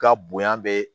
Ka bonya be